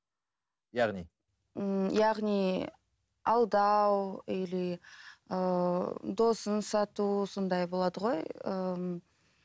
яғни ммм яғни алдау или ыыы досын сату сондай болады ғой ыыы